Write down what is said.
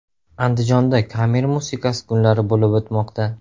Andijonda kamer musiqasi kunlari bo‘lib o‘tmoqda.